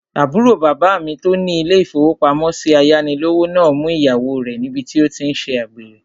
Àbúrò bàbá mi tó ní ilé-ìfowópamọ́sí ayánilówó náà mú ìyàwó rẹ̀ níbi tí ó tí n ṣe àgbèrè